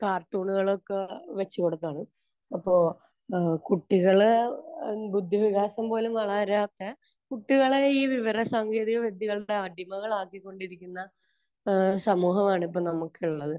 കാർട്ടൂണുകളും ഒക്കെ വെച്ചുകൊടുക്കുവാണ്. അപ്പോൾ ഏഹ് കുട്ടികൾ ബുദ്ധിവികാസം പോലും വളരാത്ത കുട്ടികളെ ഈ വിവരസാങ്കേതികവിദ്യകളുടെ അടിമകളാക്കിക്കൊണ്ടിരിക്കുന്ന ഏഹ് സമൂഹമാണ് ഇപ്പോൾ നമുക്കുള്ളത്.